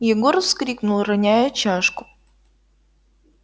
егор вскрикнул роняя чашку